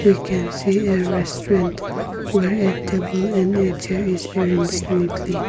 We can see a restaurant were a table and a chair is arranged neatly.